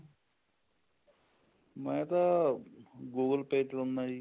ਮੈਂ ਤਾਂ google pay ਚਲਾਉਂਦਾ ਜੀ